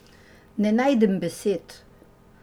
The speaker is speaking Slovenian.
Ne najdem besed.